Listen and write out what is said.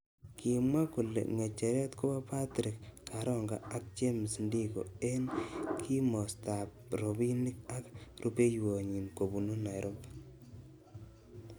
Kimwa kole ngecheret koba Patrick karonga ak James Ndiko eng kimostab ab robinik ak rubeiywonyi kobunu Nairobi.